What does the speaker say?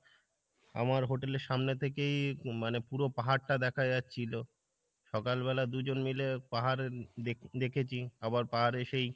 আমার hotel এর সামনে থেকেই মানে পুরো পাহাড় টা দেখা যাচ্ছিলো সকাল বেলা দুইজন মিলে পাহাড়ের দেখেছি আবার এসেই